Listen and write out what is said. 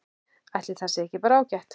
Ætli það sé ekki bara ágætt?